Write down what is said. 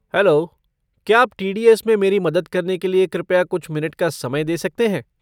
Hello, क्या आप TDS. में मेरी मदद करने के लिए कृपया कुछ मिनट का समय दे सकते हैं?